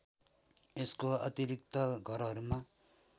यसको अतिरिक्त घरहरूमा